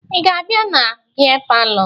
Ị ga-abịa na bịa palọ?